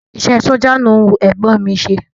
Iṣẹ́ ẹ sójà ló wu ẹ̀gbọ́n ọ̀n mi i ṣe